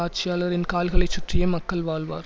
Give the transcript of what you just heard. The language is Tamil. ஆட்சியாளரின் கால்களைச் சுற்றியே மக்கள் வாழ்வர்